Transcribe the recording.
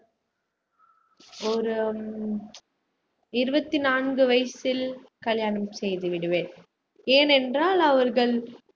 ஒரு உம் இருபத்தி நான்கு வயசில் கல்யாணம் செய்து விடுவேன் ஏன் என்றால் அவர்கள்